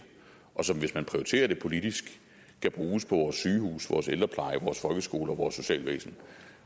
og som hvis man prioriterer det politisk kan bruges på vores sygehuse vores ældrepleje vores folkeskoler og vores socialvæsen